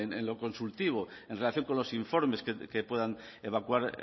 en lo consultivo en relación con los informes que puedan evacuar